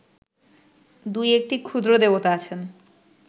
দুই একটি ক্ষুদ্র দেবতা আছেন